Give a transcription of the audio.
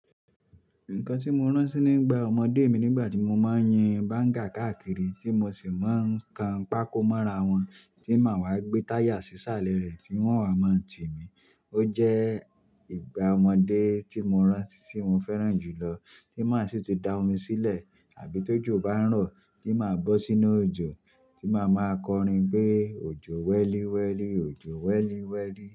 Nǹkan tí mo rántí nígbà ọmọdé mi nígbà tí mo máa ń yin Banga káàkiri tí mo sì máa ń kan pákó mọ́ra wọn tí màá wá gbé táyà sí sàlẹ̀ rẹ̀ tí wọ́n á máa ń tì mí. Ó jẹ́ ìgbà ọmọdé tí mo rántí tí mo fẹ́ràn jùlọ. Tí màá sì ti da omi sílẹ̀ àbí tó jù bá ń rọ̀ tí màá bọ́ sínú òjò tí màá máa kọrin pé òjò wẹ́líwẹ́lí, òjò wẹ́líwẹ́lí.